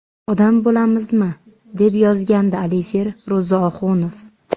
Odam bo‘lamizmi?”, deb yozgandi Alisher Ro‘zioxunov.